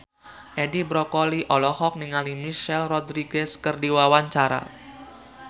Edi Brokoli olohok ningali Michelle Rodriguez keur diwawancara